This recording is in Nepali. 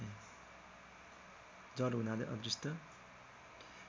जड हुनाले अदृष्ट